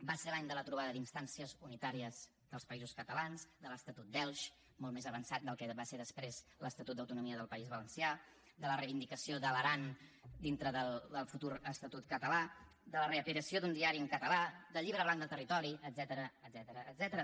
va ser l’any de la trobada d’instàncies unitàries dels països catalanes de l’estatut d’elx molt més avançat del que va ser després l’estatut d’autonomia del país valencià de la reivindicació de l’aran dintre del futur estatut català de la reaparició d’un diari en català del llibre blanc del territori etcètera